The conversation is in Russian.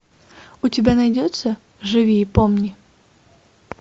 у тебя найдется живи и помни